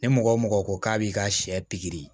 Ni mɔgɔ o mɔgɔ ko k'a b'i ka sɛ pikiri